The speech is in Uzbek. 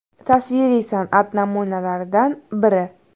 Tasviriy san’at namunalaridan biri.